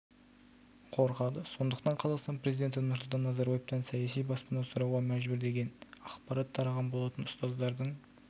қорқады сондықтан қазақстан президенті нұрсұлтан назарбаевтан саяси баспана сұрауға мәжбүр деген ақпарат тараған болатын ұстаздардың